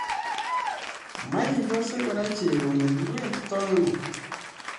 Maikose kora cherono kiwetito ano?